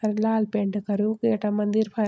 अर लाल पेंट कर्यु गेटा मंदिर फर।